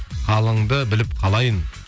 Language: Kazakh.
халіңді біліп қалайын